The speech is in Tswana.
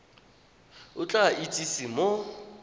o tla go itsise mo